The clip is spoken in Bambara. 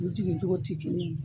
U jigin cogo te kelen ye.